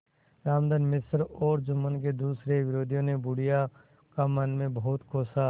रामधन मिश्र और जुम्मन के दूसरे विरोधियों ने बुढ़िया को मन में बहुत कोसा